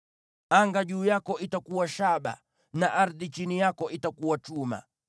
Anga juu yako itakuwa shaba, na ardhi chini yako itakuwa chuma.